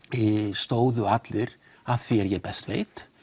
stóðu allir að því er ég best veit